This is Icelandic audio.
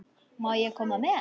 Má ég koma með?